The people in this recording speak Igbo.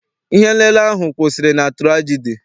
Ihe m lele ahụ kwụsịrị na turagidi.